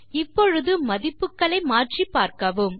இப்பொழுது மதிப்புகளை மாற்றிப் பார்க்கவும்